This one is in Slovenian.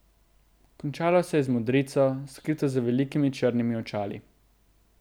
Končalo se je z modrico, skrito za velikimi črnimi očali.